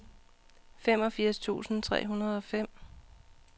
femogfirs tusind tre hundrede og fem